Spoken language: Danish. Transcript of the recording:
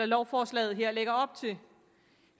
lovforslaget her lægger op til